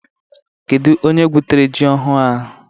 Kedu onye gwutere ji ọhụrụ ahụ?